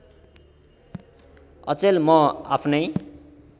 अचेल म आफ्नै